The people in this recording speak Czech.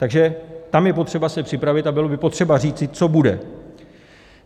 Takže tam je potřeba se připravit a bylo by potřeba říci, co bude.